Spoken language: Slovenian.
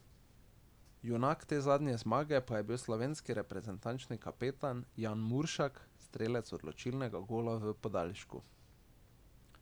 Junak te zadnje zmage pa je bil slovenski reprezentančni kapetan Jan Muršak, strelec odločilnega gola v podaljšku.